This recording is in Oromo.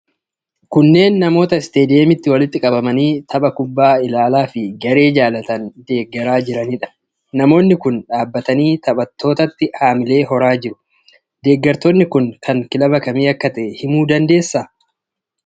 Kunneen namoota istaadiyeemitti walitti qabamanii tapha kubbaa ilaalaa fi garee jaalatan itti deeggaraa jiranidha. Namoonni kun dhaabatanii taphattootatti hamilee horaa jiru. Deeggartoonni kun kan kilaba kamii akka ta'e himuu dandeessaa?